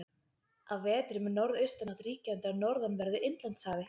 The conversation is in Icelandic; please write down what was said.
Á vetrum er norðaustanátt ríkjandi á norðanverðu Indlandshafi.